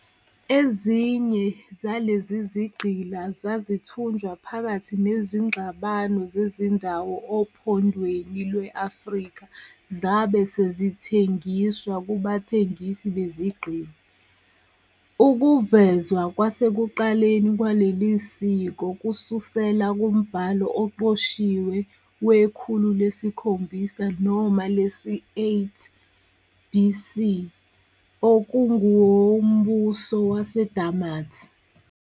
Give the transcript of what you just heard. Ezinye zalezi zigqila zazithunjwa phakathi nezingxabano zezindawo oPhondweni lwe-Afrika zabe sezithengiswa kubathengisi bezigqila. Ukuvezwa kwasekuqaleni kwaleli siko kususela kumbhalo oqoshiwe wekhulu lesikhombisa noma lesi-8 BC okungewoMbuso WaseDamat.